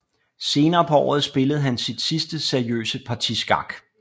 Senere på året spillede han sit sidste seriøse parti skak